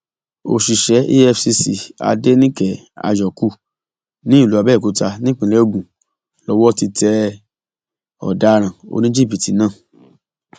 òṣìṣẹ efcc adẹnìke àyókù ní ìlú abẹòkúta nípínlẹ ogun lowó ti tẹ ọdaràn oníjìbìtì náà